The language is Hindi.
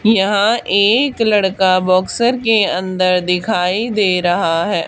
यहां एक लड़का बॉक्सर के अंदर दिखाई दे रहा है।